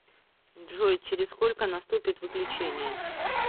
джой через сколько наступит выключение